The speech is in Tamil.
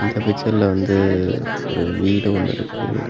இந்த பிச்சர்ல வந்து ஒரு வீடு ஒன்னு இருக்கு.